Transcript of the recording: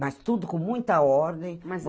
Mas tudo com muita ordem. Mas